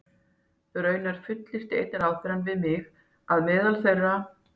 Raunar fullyrti einn ráðherrann við mig, að meðal þeirra